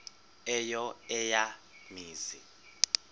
eyo eya mizi